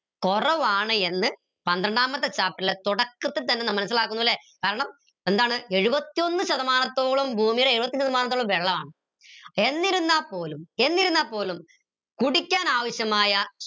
കുറവാണ് എന്ന് പന്ത്രണ്ടാമത്തെ chapter ലെ തന്നെ മനസിലാക്കുന്നു ല്ലെ കാരണം എന്താണ് എഴുപത്തിയൊന്ന് ശതമാനത്തോളം ഭൂമിയിലെ എഴുപത്തിയൊന്ന് ശതമാനത്തോളം വെള്ളമാണ് എന്നിരുന്ന പോലും കുടിക്കാൻ ആവശ്യമായ